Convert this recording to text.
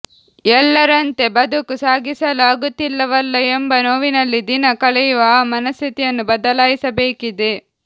ಎಲ್ಲರಂತೆ ಬದುಕು ಸಾಗಿಸಲು ಆಗುತ್ತಿಲ್ಲವಲ್ಲ ಎಂಬ ನೋವಿನಲ್ಲಿ ದಿನ ಕಳೆಯುವ ಆ ಮನಸ್ಥಿತಿಯನ್ನು ಬದಲಾಯಿಸಬೇಕಿದೆ